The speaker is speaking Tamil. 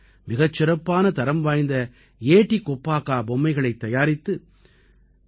மிகச் சிறப்பான தரம்வாய்ந்த ஏட்டி கொப்பாக்கா பொம்மைகளைத் தயாரித்து சி